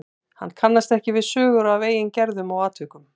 Hann kannast ekki við sögur af eigin gerðum og atvikum.